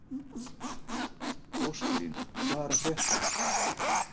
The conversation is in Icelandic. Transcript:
Ósklín, hvað er að frétta?